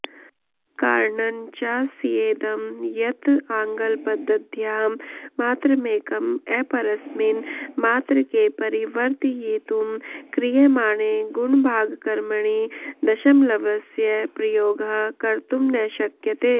कारणञ्चास्येदं यत् आङ्ग्लपदध्यां मात्रमेकम् अपरस्मिन् मात्रके परिवर्त्तयितुं क्रियमाणे गुणभागकर्मणि दशमलवस्य प्रयोगः कर्तुं न शक्यते